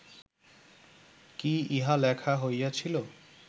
কি ইহা লেখা হইয়াছিল